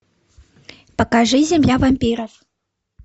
покажи земля вампиров